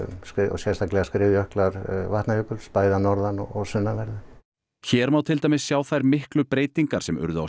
sérstaklega skriðjöklar Vatnajökuls bæði að norðan og sunnanverðu hér má til dæmis sjá þær miklu breytingar sem urðu á